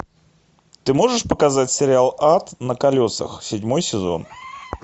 ты можешь показать сериал ад на колесах седьмой сезон